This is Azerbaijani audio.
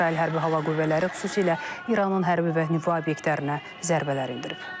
İsrail hərbi hava qüvvələri xüsusilə İranın hərbi və nüvə obyektlərinə zərbələr endirib.